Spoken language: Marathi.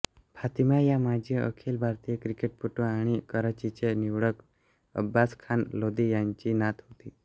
फातिमा या माजी अखिल भारतीय क्रिकेटपटू आणि कराचीचे निवडक अब्बास खान लोधी यांची नात आहे